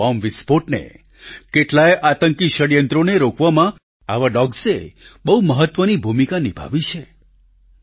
કેટલાયે bomb વિસ્ફોટને કેટલાંયે આતંકી ષડયંત્રોને રોકવામાં આવા ડોગ્સ એ બહુ મહત્વની ભૂમિકા નિભાવી છે